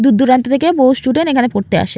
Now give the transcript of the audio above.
দূর দূরান্ত থেকে বহু স্টুডেন্ট এখানে পড়তে আসে।